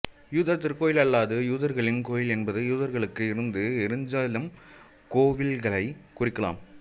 யூதர் திருக்கோயில் அல்லது யூதர்களின் கோயில் என்பது யூதர்களுக்கு இருந்த எருசலேம் கோவில்களைக் குறிக்கலாம்